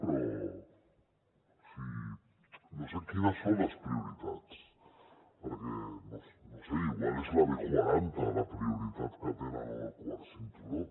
però o sigui no sé quines són les prioritats perquè no ho sé potser és la b quaranta la prioritat que tenen o el quart cinturó